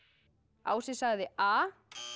ási sagði a